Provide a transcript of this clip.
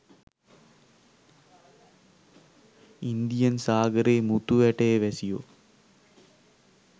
Indian සාගරයේ මුතු ඇටයේ වැසියෝ